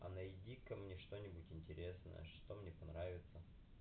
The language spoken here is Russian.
а найди ка мне что-нибудь интересное что мне понравится